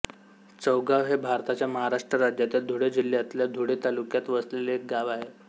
चौगाव हे भारताच्या महाराष्ट्र राज्यातील धुळे जिल्ह्यातल्या धुळे तालुक्यात वसलेले एक गाव आहे